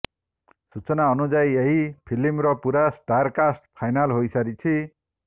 ସୂଚନା ଅନୁଯାୟୀ ଏହି ଫିଲ୍ମର ପୂରା ଷ୍ଟାର କାଷ୍ଟ ଫାଇନାଲ ହୋଇସାରିଛି